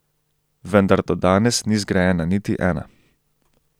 Vendar do danes ni zgrajena niti ena.